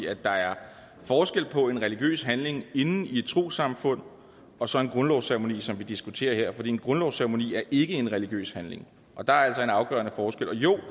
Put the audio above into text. at der er forskel på en religiøs handling inde i et trossamfund og så en grundlovsceremoni som vi diskuterer her for en grundlovsceremoni er ikke en religiøs handling og der er altså en afgørende forskel og jo